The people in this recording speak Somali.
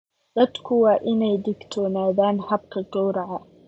Dadku waa inay ka digtoonaadaan habka gowraca.